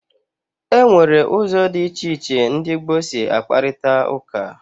Enwere ụzọ dị iche iche ndị gboo si akparita ụka.